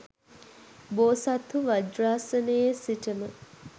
බෝසත්හු වජ්‍රාසනයේ සිටම